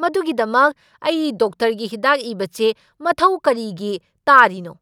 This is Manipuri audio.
ꯃꯗꯨꯒꯤꯗꯃꯛ ꯑꯩ ꯗꯣꯛꯇꯔꯒꯤ ꯍꯤꯗꯥꯛ ꯏꯕ ꯆꯦ ꯃꯊꯧ ꯀꯔꯤꯒꯤ ꯇꯥꯔꯤꯅꯣ?